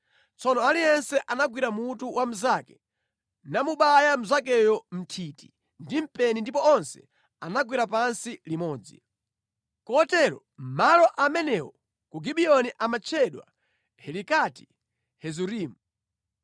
Tsono aliyense anagwira mutu wa mnzake namubaya mnzakeyo mʼnthiti ndi mpeni ndipo onse anagwera pansi limodzi. Kotero malo amenewo ku Gibiyoni amatchedwa Helikati Hazurimu.